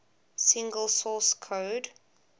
single source code